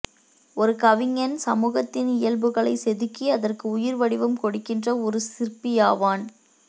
ஒரு கவிஞன் சமுகத்தின் இயல்புகளை செதுக்கி அதற்கு உயிர் வடிவம் கொடுக்கின்ற ஒரு சிற்பியாவான்